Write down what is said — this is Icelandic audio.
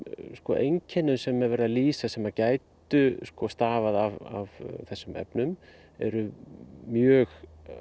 einkennum sem er verið að lýsa sem að gætu stafað af þessum efnum eru mjög